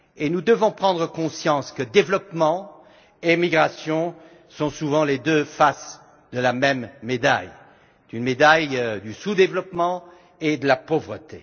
Nous devons prendre conscience que développement et migration sont souvent les deux faces de la même médaille, la médaille du sous développement et de la pauvreté.